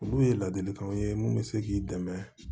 Olu ye ladilikanw ye mun bɛ se k'i dɛmɛ